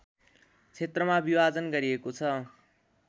क्षेत्रमा विभाजन गरिएको छ